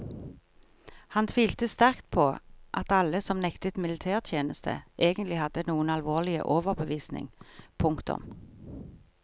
Han tvilte sterkt på at alle som nektet militærtjeneste egentlig hadde noen alvorlig overbevisning. punktum